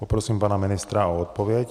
Poprosím pana ministra o odpověď.